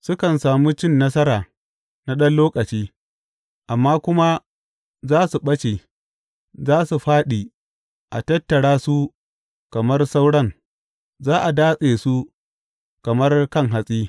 Sukan samu cin nasara na ɗan lokaci, amma kuma za su ɓace; za su fāɗi a tattara su kamar sauran; za a datse su kamar kan hatsi.